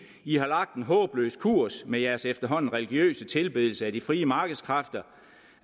i har lagt en håbløs kurs med jeres efterhånden religiøse tilbedelse af de frie markedskræfter